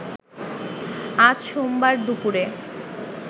আজ সোমবার দুপুরে